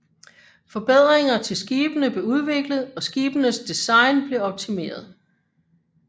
Forbedringer til skibene blev udviklet og skibenes design blev optimeret